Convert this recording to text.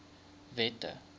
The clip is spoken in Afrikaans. wette